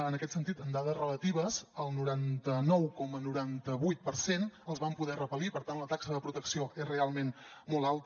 en aquest sentit en dades relatives el noranta nou coma noranta vuit per cent els vam poder repel·lir per tant la taxa de protecció és realment molt alta